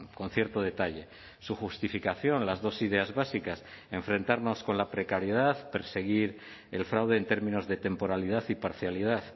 con cierto detalle su justificación las dos ideas básicas enfrentarnos con la precariedad perseguir el fraude en términos de temporalidad y parcialidad